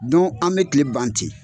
Dɔn an be kile ban ten